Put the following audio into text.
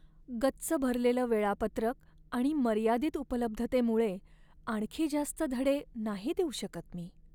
गच्च भरलेलं वेळापत्रक आणि मर्यादित उपलब्धतेमुळे आणखी जास्त धडे नाही देऊ शकत मी.